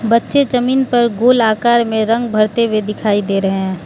बच्चे जमीन पर गोल आकार में रंग भरते हुए दिखाई दे रहे हैं।